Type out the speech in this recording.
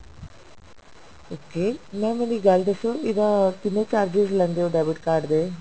okay mam ਮੈਨੂੰ ਇੱਕ ਗੱਲ ਦੱਸੋ ਇਹਦਾ ਕਿੰਨੇ charges ਲੈਂਦੇ ਹੋ debit card ਦੇ